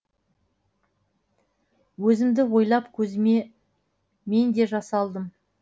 өзімді ойлап көзіме мен де жас алдым